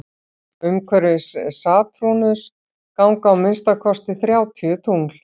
umhverfis satúrnus ganga að minnsta kosti þrjátíu tungl